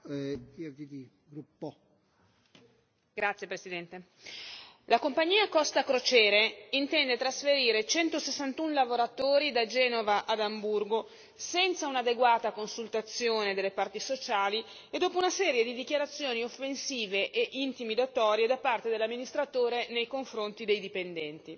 Signor Presidente, onorevoli colleghi, la compagnia Costa crociere intende trasferire 161 lavoratori da Genova ad Amburgo senza un'adeguata consultazione delle parti sociali e dopo una serie di dichiarazioni offensive ed intimidatorie da parte dell'amministratore nei confronti dei dipendenti.